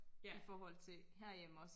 I forhold til herhjemme også